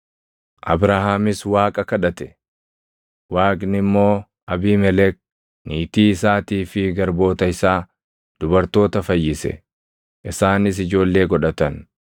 Abrahaamis Waaqa kadhate; Waaqni immoo Abiimelek, niitii isaatii fi garboota isaa dubartoota fayyise; isaanis ijoollee godhatan.